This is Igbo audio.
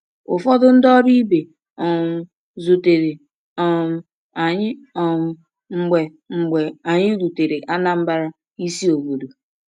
Ụfọdụ ndị ọrụ ibe um zutere um anyị um mgbe mgbe anyị rutere Anambra, isi obodo.